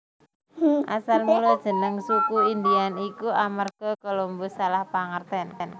Asal mula jeneng Suku Indian iku amarga Colombus salah pangertèn